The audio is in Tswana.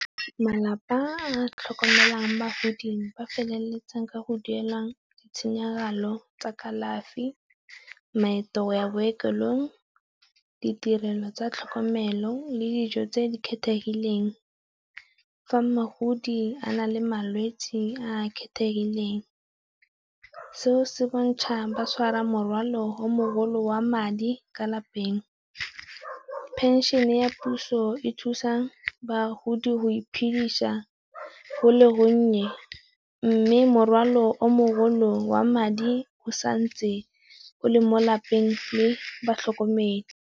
Malapa a tlhokomelang ba godimo ba feleletsang ka go duela ditshenyegelo tsa kalafi, maeto ya bookelong, ditirelo tsa tlhokomelo le dijo tse di kgethegileng. Fa mogodi a na le malwetsi a a kgethegileng, seo se bontsha ba tshwara morwalo o mogolo wa madi ka lapeng. Penšhene e ya puso e thusa bagodi go iphedisa go le gonnye mme morwalo o mogolo wa madi o sa ntse o le mo lapeng le batlhokomedi.